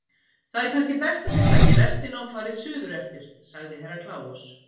Það er kannski best að þið takið lestina og farið suðureftir, sagði Herra Kláus.